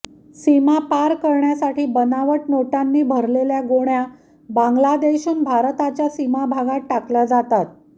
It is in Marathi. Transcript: सीमा पार करण्यासाठी बनावट नोटांना भरलेल्या गोण्या बांगलादेशहून भारताच्या सीमाभागात टाकल्या जातात